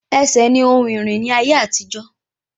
Ẹsẹ̀ ní ohun ìrìn ní ayé àtijó